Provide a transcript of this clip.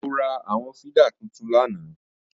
Mo ra àwọn fídà tuntun lánàá